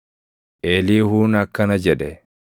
Eliihuun akkana jedhe: